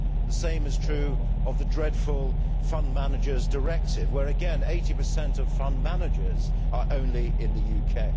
The same is true of the dreadful Fund Managers Directive, where again 80 of fund managers are only in the UK.